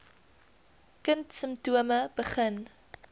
kind simptome begin